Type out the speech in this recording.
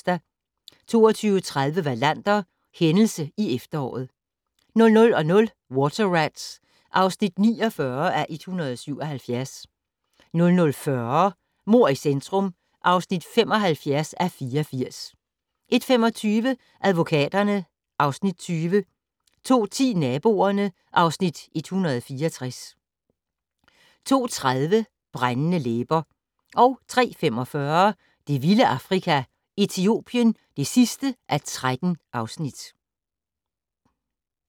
22:30: Wallander: Hændelse i efteråret 00:00: Water Rats (49:177) 00:40: Mord i centrum (75:84) 01:25: Advokaterne (Afs. 20) 02:10: Naboerne (Afs. 164) 02:30: Brændende læber 03:45: Det vilde Afrika - Etiopien (13:13)